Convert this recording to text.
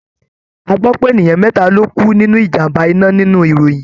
A gbọ́ pé ènìyàn mẹ́ta ló kú nínú ìjàm̀bá iná nínú ìròyìn.